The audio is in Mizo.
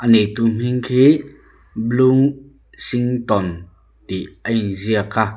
a neitu hming khi blueshington tih a inziak a.